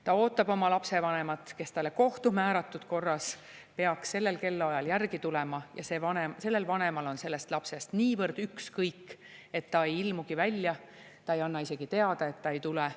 Ta ootab oma vanemat, kes talle kohtu määratud korras peaks sellel kellaajal järgi tulema, aga sellel vanemal on lapsest niivõrd ükskõik, et ta ei ilmugi välja, ta ei anna isegi teada, et ta ei tule.